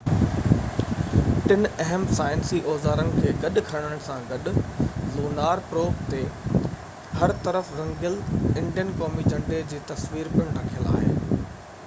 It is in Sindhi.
ٽن اهم سائنسي اوزارن کي گڏ کڻڻ سان گڏ لونار پروب تي هر طرف رنگيل انڊين قومي جهنڊي جي تصوير پڻ رکيل آهي